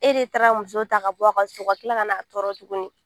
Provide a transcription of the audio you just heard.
E de taara muso ta ka bɔ a ka so ka tila ka n'a tɔɔrɔ tuguni